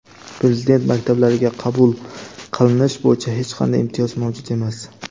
Prezident maktablariga qabul qilinish bo‘yicha hech qanday imtiyoz mavjud emas.